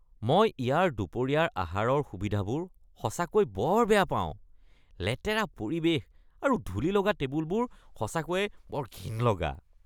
মই ইয়াৰ দুপৰীয়াৰ আহাৰৰ সুবিধাবোৰ সঁচাকৈ বৰ বেয়া পাওঁ, লেতেৰা পৰিৱেশ আৰু ধূলিলগা টেবুলবোৰ সঁচাকৈয়ে বৰ ঘিণ লগা।